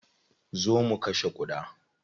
Zo mu kashe ƙuda.